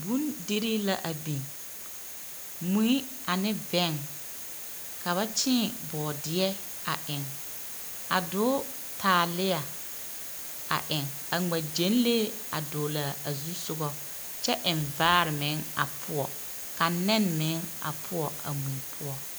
Bondirii la a biŋ, mui ane bɛn, ka ba kyeeŋ bɔɔdeɛ a eŋ, a doo taalea a eŋ, a ŋma gyɛnlee a dogle a zusoga kyɛ eŋ vaare meŋ a poɔ ka nɛne meŋ a poɔ a mui poɔ. 13408